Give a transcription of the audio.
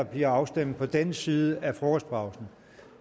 bliver afstemning på denne side af frokostpausen